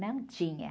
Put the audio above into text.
Não tinha.